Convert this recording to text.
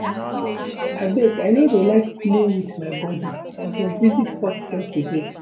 Abeg I no dey like to play with my body I go visit hospital today